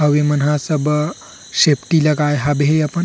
हवे मन ह सब सेफ्टी लगाए हवे अपन --